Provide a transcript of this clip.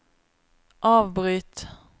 avbryt